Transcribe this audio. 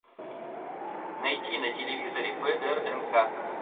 найти на телевизоре прнк